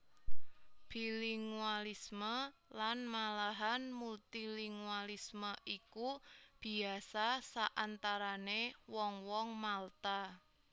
Bilingualisme lan malahan multilingualisme iku biasa saantarané wong wong Malta